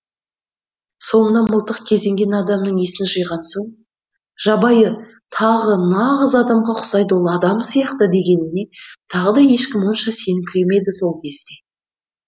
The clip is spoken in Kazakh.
соңынан мылтық кезенген адамның есін жиған соң жабайы тағы нағыз адамға ұқсайды ол адам сияқты дегеніне тағы да ешкім онша сеніңкіремеді сол кезде